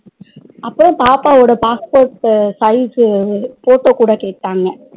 அப்பறம் பாப்பாவோட passport size photo கூட கேட்டாங்க